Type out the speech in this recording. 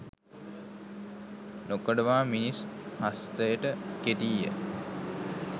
නොකඩවා මිනිස් හස්තයට කෙටීය.